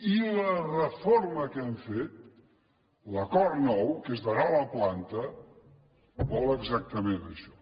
i la reforma que hem fet l’acord nou que és de nova planta vol exactament això